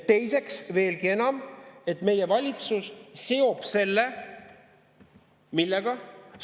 Teiseks, veelgi enam, meie valitsus seob selle – millega?